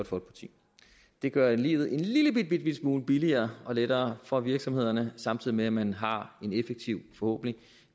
folkeparti det gør livet en lillebitte smule billigere og lettere for virksomhederne samtidig med at man har en effektiv forhåbentlig